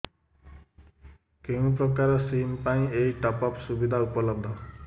କେଉଁ ପ୍ରକାର ସିମ୍ ପାଇଁ ଏଇ ଟପ୍ଅପ୍ ସୁବିଧା ଉପଲବ୍ଧ